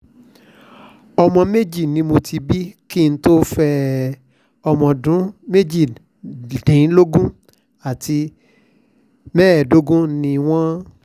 ọmọ méjì ni mo ti bí kí n tóó fẹ́ ẹ ọ̀mọ̀ọ́dún méjìdínlógún àti mẹ́ẹ̀ẹ́dógún ni wọ́n